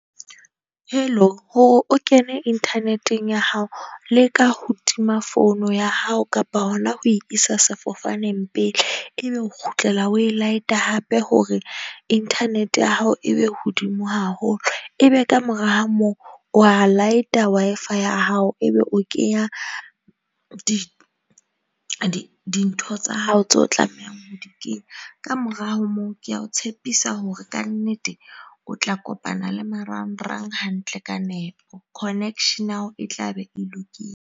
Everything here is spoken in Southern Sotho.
Hello hore o kene internet-eng ya hao leka ho tima founu ya hao kapa hona ho isa sefofaneng pele ebe o kgutlela o e laete hape, hore inthanete ya hao e be hodimo haholo, e be ka mora ha moo wa light-a Wi-Fi ya hao. Ebe o kenya di di dintho tsa hao tseo tlamehang ho di kenya. Ka mora ha moo, ke a o tshepisa hore ka nnete o tla kopana le marang-rang hantle ka nepo. Connection ao e tla be e .